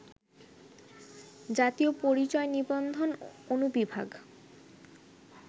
জাতীয় পরিচয় নিবন্ধন অনুবিভাগ